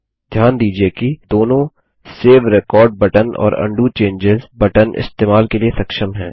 ध्यान दीजिये कि दोनों सेव रेकॉर्ड बटन और उंडो चेंजों बटन इस्तेमाल के लिए सक्षम हैं